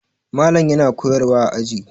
Malam yana koyarwa a aji.